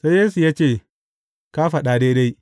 Sai Yesu ya ce, Ka faɗa daidai.